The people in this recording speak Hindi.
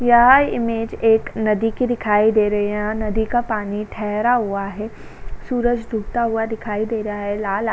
यह इमेज एक नदी की दिखाई दे रही है यहाँ नदी का पानी ठहरा हुआ है। सूरज डूबता हुआ दिखाई दे रहा है लाल --